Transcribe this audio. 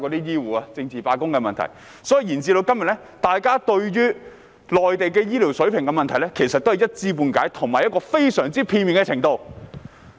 因此，延至今天，大家對內地醫療水平的問題仍是一知半解，屬於非常片面的程度。